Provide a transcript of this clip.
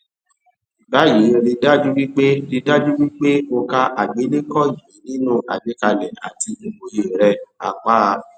báyìí rí dájú wí pé rí dájú wí pé o ka àgbélékọ yìí nínú àgbékalẹ àti ìmòye rẹ apa a